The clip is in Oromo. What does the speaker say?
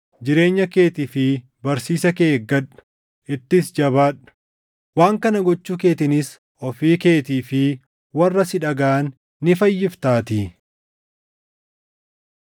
Jireenya keetii fi barsiisa kee eeggadhu. Ittis jabaadhu; waan kana gochuu keetiinis ofii keetii fi warra si dhagaʼan ni fayyiftaatii.